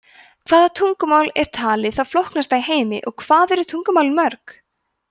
hvaða tungumál er talið það flóknasta í heimi og hvað eru tungumálin mörg